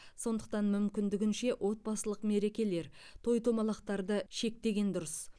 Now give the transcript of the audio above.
сондықтан мүмкіндігінше отбасылық мерекелер той томалақтарды шектеген дұрыс